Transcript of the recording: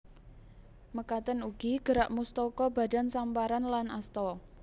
Mekaten ugi gerak mustaka badan samparan lan asta